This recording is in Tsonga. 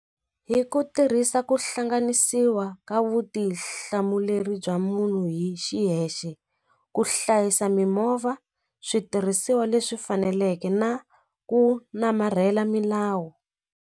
Hi ku tirhisa ku hlanganisiwa ka vutihlamuleri bya munhu hi xiyexe ku hlayisa mimovha switirhisiwa leswi faneleke na ku namarhela milawu.